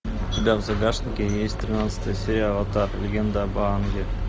у тебя в загашнике есть тринадцатая серия аватар легенда об аанге